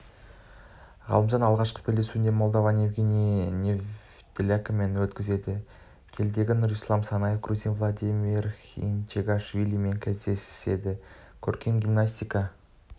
ғалымжан алғашқы белдесуін молдаван евгений недялкомен өткізеді келідегі нұрислам санаев грузин владимир хинчегашвилимен кездеседі көркем гимнастика